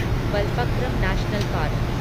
Balphakram national park